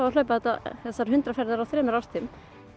að hlaupa þessar hundrað ferðir í þremur árstíðum